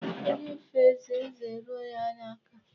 Onye fee eze, eze eruo ya aka.